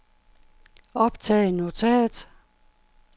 optag notat